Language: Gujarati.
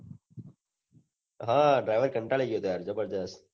હા driver કંટાળી ગયો હતો યાર જબરજસ